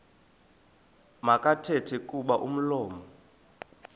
makathethe kuba umlomo